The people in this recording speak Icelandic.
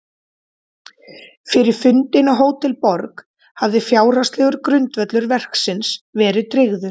Fyrir fundinn á Hótel Borg hafði fjárhagslegur grundvöllur verksins verið tryggður.